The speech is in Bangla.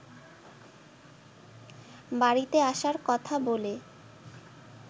বাড়িতে আসার কথা বলে